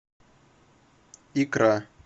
икра